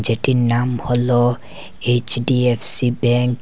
এটির নাম হল এইচ_ডি_এফ_সি ব্যাঙ্ক ।